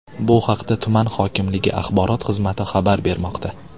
Bu haqda tuman hokimligi axborot xizmati xabar bermoqda .